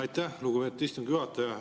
Aitäh, lugupeetud istungi juhataja!